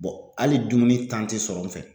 hali dumuni te sɔrɔ n fɛ.